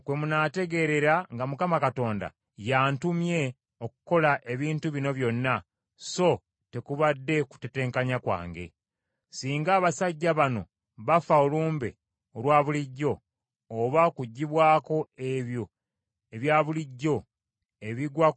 Singa abasajja bano bafa olumbe olwa bulijjo, oba kugwibwako ebyo ebya bulijjo ebigwa ku bantu bonna, kinaaba kitegeeza nti Mukama si y’antumye.